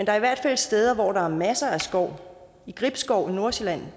er i hvert fald steder hvor der er masser af skov gribskov i nordsjælland